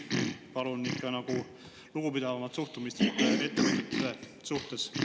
Palun ikka lugupidavamat suhtumist ettevõtjate suhtes!